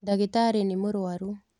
Ndagĩtarĩnĩmũrwaru.